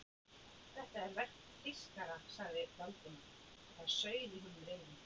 Þetta er verk þýskara sagði Valdimar og það sauð í honum reiðin.